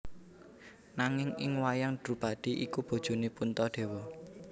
Nanging ing wayang Drupadhi iku bojone Puntadewa